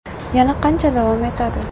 Yana qancha davom etadi?